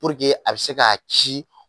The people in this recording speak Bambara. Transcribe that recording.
Purube a be se k'a ci